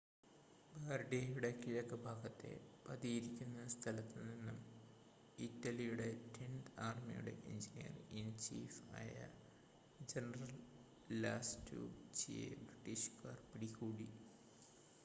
ബാർഡിയയുടെ കിഴക്ക് ഭാഗത്തെ പതിയിരിക്കുന്ന സ്ഥലത്തു നിന്ന് ഇറ്റലിയുടെ ടെൻത് ആർമിയുടെ എഞ്ചിനീയർ ഇൻ ചീഫ് ആയ ജനറൽ ലാസ്റ്റുചിയെ ബ്രിട്ടീഷുകാർ പിടികൂടി